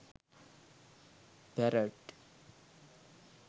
parrot